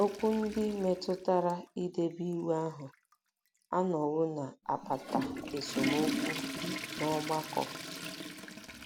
um Okwu ndị metụtara idebe um Iwu ahụ um anọwo na-akpata esemokwu n'ọgbakọ.